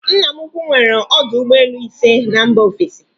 Nna m ukwu nwere ọdụ ụgbọelu ise na mba ofesi